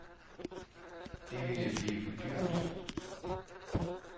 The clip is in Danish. Det ville blive for dyrt.